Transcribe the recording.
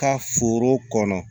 Ka foro kɔnɔ